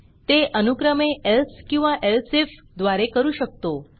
ते अनुक्रमे elseएल्स किंवा elseifएल्सइफ द्वारे करू शकतो